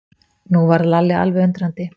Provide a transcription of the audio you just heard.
Nú varð Lalli alveg undrandi.